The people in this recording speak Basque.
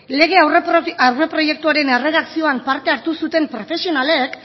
lege aurreproiektuaren erredakzioan parte hartu zuten profesionalek